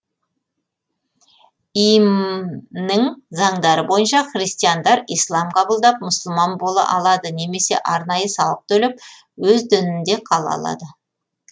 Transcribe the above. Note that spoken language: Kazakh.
им нің заңдары бойынша христиандар ислам қабылдап мұсылман бола алады немесе арнайы салық төлеп өз дінінде қала алады